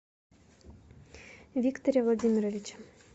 викторе владимировиче